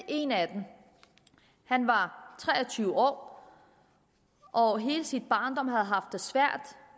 en af dem han var tre og tyve år og hele sin barndom har han haft det svært